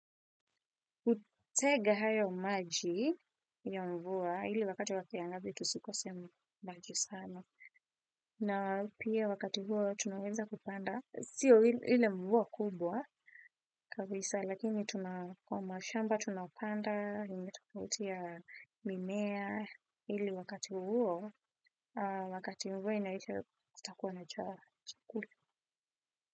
Hutega hayo maji ya mvua ili wakati wa kiangazi tusikose maji sana na pia wakati huo tunaweza kupanda sio ile mvua kubwa kabisa lakini kwa mashamba tunapanda inge tafautiana mimea ili wakati huo wakati huo inaisha kutakuwa na chakula.